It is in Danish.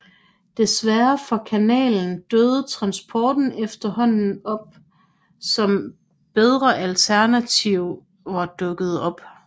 Desværre for kanalen døde transporten ud efterhånden som bedre alternativer dukkede op